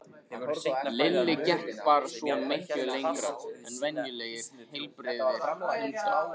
Lilli gekk bara svo miklu lengra en venjulegir heilbrigðir hundar.